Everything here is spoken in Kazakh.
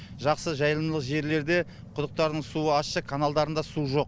жақсы жайылымдылық жерлерде құдықтарының суы ащы каналдарында су жоқ